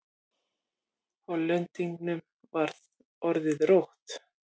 Hollendingnum var orðið rótt.